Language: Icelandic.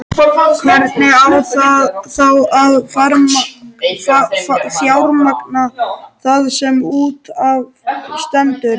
Hvernig á þá að fjármagna það sem út af stendur?